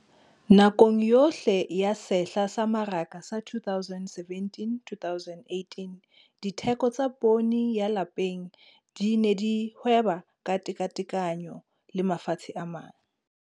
Nakong yohle ya sehla sa mmaraka sa 2017-2018, ditheko tsa poone ya lapeng di ne di hweba ka tekatekano le mafatshe a mang.